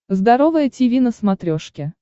здоровое тиви на смотрешке